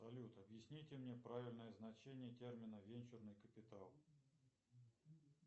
салют объясните мне правильное значение термина венчурный капиталл